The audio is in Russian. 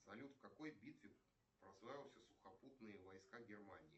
салют в какой битве прославился сухопутные войска германии